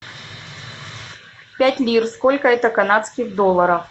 пять лир сколько это канадских долларов